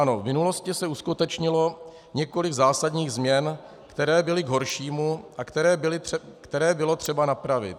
Ano, v minulosti se uskutečnilo několik zásadních změn, které byly k horšímu a které bylo třeba napravit.